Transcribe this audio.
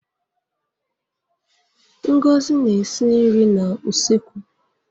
Ngozi na-esi nri n'usekwu.